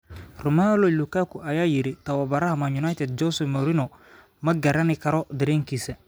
Romelu Lukaku: Tababaraha Man Utd, Jose Mourinho, 'ma qarin karo dareenkiisa'.